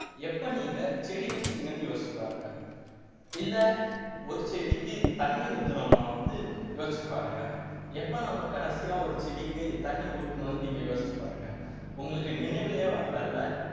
எப்ப நீங்க செடி வச்சீங்கன்னு யோசிச்சு பாருங்க இல்ல ஒரு செடிக்கு தண்ணி ஊத்துனமா வந்து யோசிச்சு பாருங்க எப்ப நாம கடைசியா ஒரு செடிக்கு தண்ணி ஊத்தணும்னு நீங்க யோசிச்சு பாருங்க உங்களுக்கு நினைவுலயே வரல இல்ல